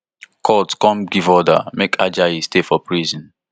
court come give order make ajayi stay for prison